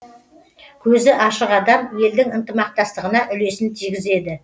көзі ашық адам елдің ынтымақтастығына үлесін тигізеді